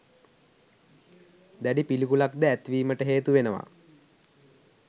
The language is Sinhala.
දැඩි පිළිකුලක්ද ඇතිවීමට හේතු වෙනවා.